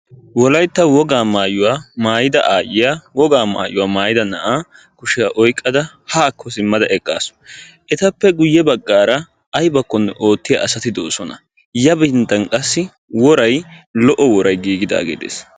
Wolaytta wogaa maayuwa maayida aayiya wogaa maayuwa maayiyda n'aa kushiya oyqqada haakko simmada eqqaasu. Etappe guye baggaara aybakkonne oottiya asati de"oosona. Yafinttan qassi woray lo"o woray giiggidaagee de'ees.